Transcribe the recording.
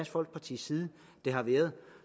folkepartis side at det har været